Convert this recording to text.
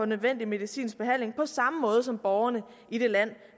nødvendig medicinsk behandling på samme måde som borgerne i det land